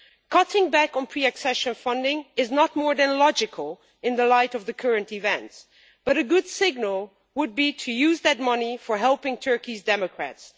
Cutting back on pre accession funding is no more than logical in the light of current events, but a good signal would be to use that money to help Turkey's democrats.